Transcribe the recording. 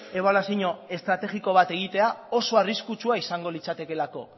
ebaluazio estrategiko bat egitea oso arriskutsua izango litzatekeelako